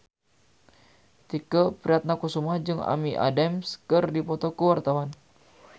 Tike Priatnakusuma jeung Amy Adams keur dipoto ku wartawan